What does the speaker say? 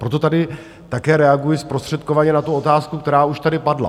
Proto tady také reaguji zprostředkovaně na tu otázku, která už tady padla.